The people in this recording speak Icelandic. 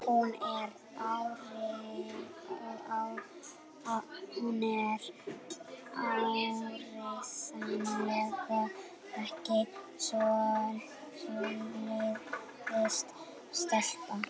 Hún er áreiðanlega ekki svoleiðis stelpa.